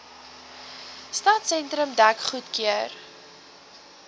stadsentrum dek goedgekeur